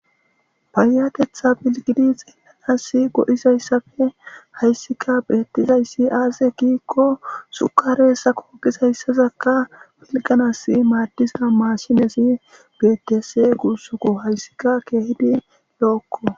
Bayatetha bilgidi xeelanasi go7izayssafe hayssika bettizayssi aaze kiikko sukare sako gizayssazakka bilganas maadiza maashinezi betes gursuko hayssika keehidi lo7okko